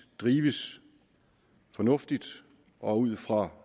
drives fornuftigt og ud fra